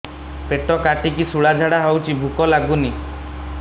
ପେଟ କାଟିକି ଶୂଳା ଝାଡ଼ା ହଉଚି ଭୁକ ଲାଗୁନି